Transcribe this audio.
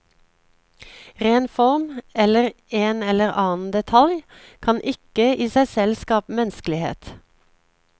Ren form, eller en eller annen detalj, kan ikke i seg selv skape menneskelighet.